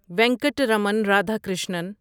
Venkataraman Radhakrishnan